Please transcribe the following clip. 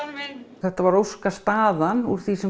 þetta var óskastaðan úr því sem